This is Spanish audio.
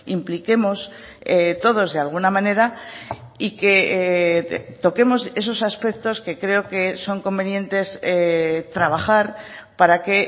impliquemos todos de alguna manera y que toquemos esos aspectos que creo que son convenientes trabajar para que